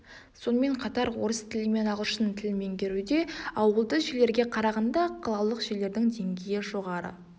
сонымен қатар орыс тілі мен ағылшын тілін меңгеруде ауылды жерлерге қарағанда қалалық жерлердің деңгейі жоғары